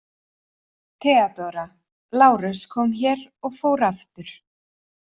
THEODÓRA: Lárus kom hér og fór aftur.